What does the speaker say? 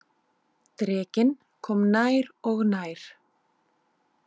Drekinn kom nær og nær.